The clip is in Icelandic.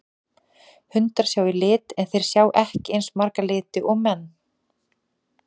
Hundar sjá í lit en þeir sjá ekki eins marga liti og menn.